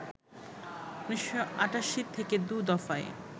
১৯৮৮ থেকে দু দফায়